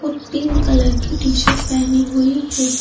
और pink colour की t-shirt पहनी हुई है।